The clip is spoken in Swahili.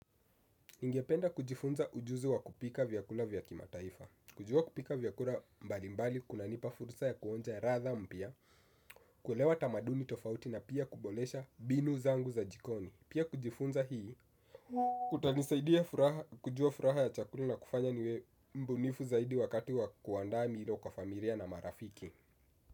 Ningependa kujifunza ujuzi wa kupika vyakula vya kimataifa. Kujua kupika vyakula mbalimbali, kunanipa fursa ya kuonja ladha mpya, kuelewa tamaduni tofauti na pia kuboresha mbinu zangu za jikoni. Pia kujifunza hii, kutanisaidia kujua furaha ya chakula na kufanya niwe mbunifu zaidi wakati wa kuandaa milo kwa familia na marafiki.